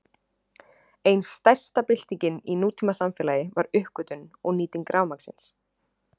Ein stærsta byltingin í nútímasamfélagi var uppgötvun og nýting rafmagnsins.